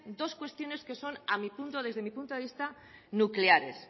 dos cuestiones que son desde mi punto de vista nucleares